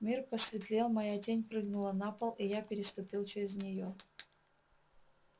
мир посветлел моя тень прыгнула на пол и я переступил через нее